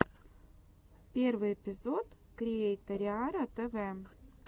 первый эпизод криэйториара тв